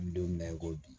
N bɛ don min na i ko bi